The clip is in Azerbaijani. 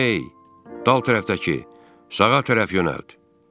Ey, dal tərəfdəki, sağa tərəf yönəlt.